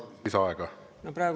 Kas on tarvis lisaaega?